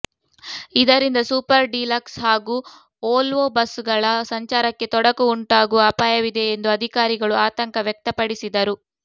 ಇದರಿಂದ super deluxe ಹಾಗೂ Volvo ಬಸ್ಸುಗಳ ಸಂಚಾರಕ್ಕೆ ತೊಡಕು ಉಂಟಾಗುವ ಅಪಾಯವಿದೆ ಎಂದು ಅಧಿಕಾರಿಗಳು ಆತಂಕ ವ್ಯಕ್ತಪಡಿಸಿದರು